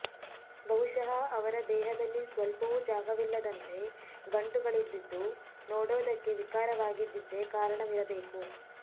ಬಹುಶಃ ಅವರ ದೇಹದಲ್ಲಿ ಸ್ವಲ್ಪವೂ ಜಾಗವಿಲ್ಲದಂತೆ ಗಂಟುಗಳಿದ್ದಿದ್ದು ನೋಡೋದಕ್ಕೆ ವಿಕಾರವಾಗಿದ್ದಿದ್ದೆ ಕಾರಣವಿರಬೇಕು